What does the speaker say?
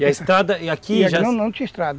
E a estrada, e aqui já... Não, não tinha estrada.